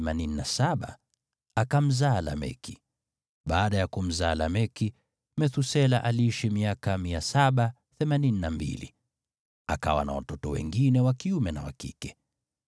Baada ya kumzaa Lameki, Methusela aliishi miaka 782, akawa na watoto wengine wa kiume na wa kike.